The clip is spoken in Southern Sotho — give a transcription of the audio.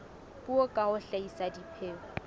puo ka ho hlahisa dipheo